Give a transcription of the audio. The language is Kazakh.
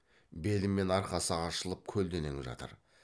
белі мен арқасы ашылып көлденең жатыр